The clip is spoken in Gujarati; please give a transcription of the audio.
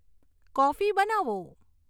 કોફી બનાવો